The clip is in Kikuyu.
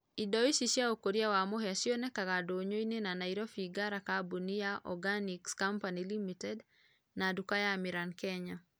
ĩndo ĩcĩ cĩa ũkũrĩa wa mũhĩa cĩonekaga ndũnyũ ĩnĩ na Naĩrobĩ Ngara kambũnĩ ya organĩx company ltd na dũka ya Amĩran kenya